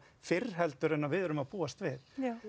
fyrr en við erum að búast við